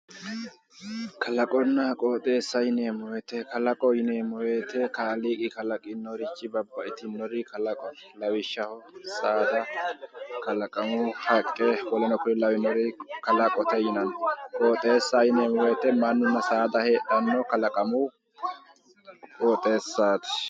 Kalaqonna qoxeessa yineemmo woyiite kalaqoho yineemmo woyiite kaliiqi kalaqinorichi babbaxxitinori kalaqote lawishshaho saada kalaqamu haqqe woleno kuri lawannori kalaqote yinanni qoxeessaho yineemmo woyiite mannunna saada heedhannowi kalaqamu qoxeessaati